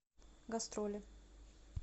гастроли